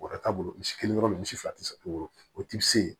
Bɔrɔ t'a bolo misi kelen yɔrɔ min misi fila tɛ se woro o ti se